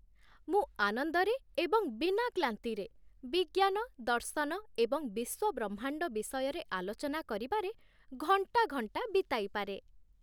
ମୁଁ ଆନନ୍ଦରେ ଏବଂ ବିନା କ୍ଲାନ୍ତିରେ ବିଜ୍ଞାନ, ଦର୍ଶନ ଏବଂ ବିଶ୍ୱବ୍ରହ୍ମାଣ୍ଡ ବିଷୟରେ ଆଲୋଚନା କରିବାରେ ଘଣ୍ଟା ଘଣ୍ଟା ବିତାଇପାରେ